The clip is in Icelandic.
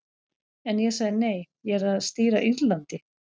En ég sagði nei, ég er að stýra Írlandi.